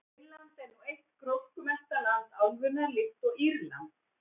Finnland er nú eitt gróskumesta land álfunnar, líkt og Írland.